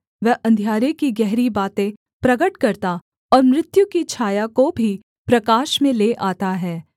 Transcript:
वह अंधियारे की गहरी बातें प्रगट करता और मृत्यु की छाया को भी प्रकाश में ले आता है